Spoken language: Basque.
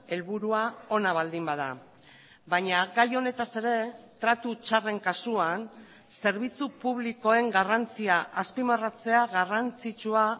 helburua ona baldin bada baina gai honetaz ere tratu txarren kasuan zerbitzu publikoen garrantzia azpimarratzea garrantzitsua